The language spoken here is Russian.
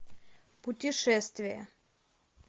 путешествие